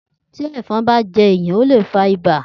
Tí ẹ̀fọn bá jẹ èyàn ó le fa ibà.